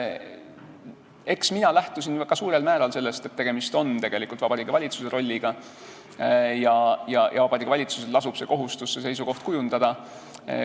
Eks mina lähtusin suurel määral sellest, et tegemist on Vabariigi Valitsuse rolliga ja Vabariigi Valitsusel lasub kohustus seisukoht kujundada.